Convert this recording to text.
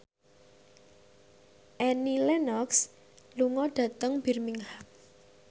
Annie Lenox lunga dhateng Birmingham